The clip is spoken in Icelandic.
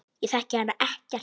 Ég þekki hana ekkert.